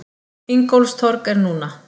Ingólfstorg er núna.